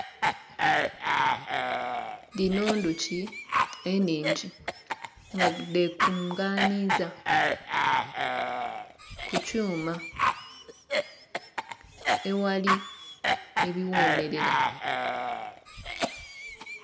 Dhino ndhuki eningi nga dhekunganiza kukyuma eghali ebighomerera.